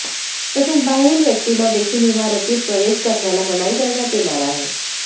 तसेच बाहेरील व्यक्तींना देखील इमारतीत प्रवेश करण्याला मनाई करण्यात येणार आहे